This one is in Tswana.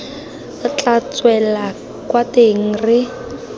tla tswela kwa teng re